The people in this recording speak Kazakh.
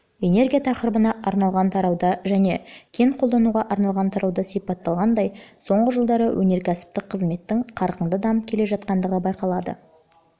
энергия тақырыбына арналған тарауда және кен қолдануға арналған тарауда сипатталғандай соңғы жылдары өнеркәсіптік қызметтің қарқынды дамып келе жатқандығы байқалады